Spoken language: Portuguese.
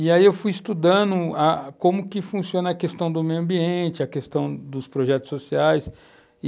E aí eu fui estudando ah como que funciona a questão do meio ambiente, a questão dos projetos sociais.